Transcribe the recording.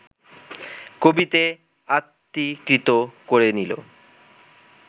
কবিতে আত্মীকৃত করে নিল